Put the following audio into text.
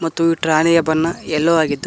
ಮತ್ತು ಈ ಟ್ರಾಲಿಯ ಬಣ್ಣ ಎಲ್ಲೋ ಆಗಿದ್ದು--